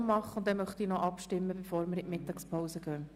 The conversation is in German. Danach möchte ich abstimmen, bevor wir in die Mittagspause gehen.